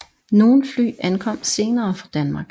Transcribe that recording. Nogle fly ankom senere fra Danmark